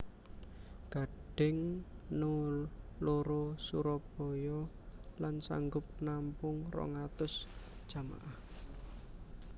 Gading No loro Surabaya lan sanggup nampung 200 jamaah